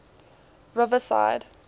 riverside